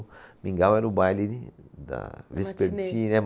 O Mingau era o baile de, da... Matinê.